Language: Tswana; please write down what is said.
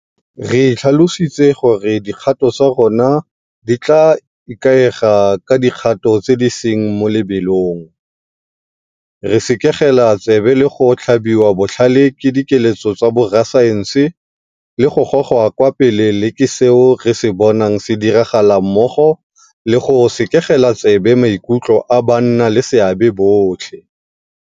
Re itlhalositse gore dikgato tsa rona di tla ikaega ka di kgato tse di seng mo lebelong, re sekegela tsebe le go tlhabiwa botlhale ke dikeletso tsa borasaense le go gogwa kwa pele le ke seo re se bonang se diragala mmogo le go sekegela tsebe maikutlo a bannaleseabe botlhe.